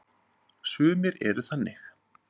Sumir eru þannig.